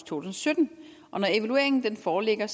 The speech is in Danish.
tusind og sytten når evalueringen foreligger